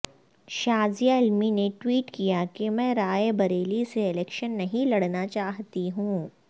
شاذیہ علمی نے ٹویٹ کیا کہ میں رائے بریلی سے الیکشن نہیں لڑنا چاہتی ہوں